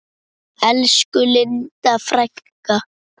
Elsku Linda frænka.